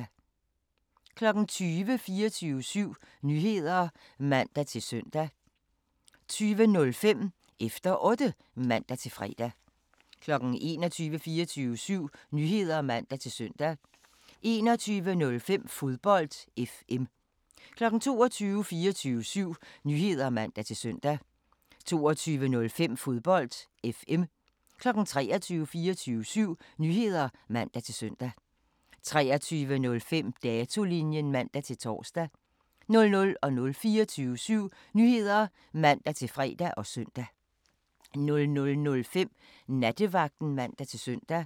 20:00: 24syv Nyheder (man-søn) 20:05: Efter Otte (man-fre) 21:00: 24syv Nyheder (man-søn) 21:05: Fodbold FM 22:00: 24syv Nyheder (man-søn) 22:05: Fodbold FM 23:00: 24syv Nyheder (man-søn) 23:05: Datolinjen (man-tor) 00:00: 24syv Nyheder (man-fre og søn) 00:05: Nattevagten (man-søn)